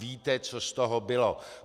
Víte, co z toho bylo.